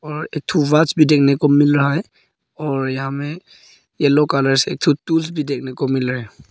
और एक थु वॉच भी देखने को मिल रहा है और यहां में येलो कलर एक थु टूल्स भी देखने को मिल राहा हैं।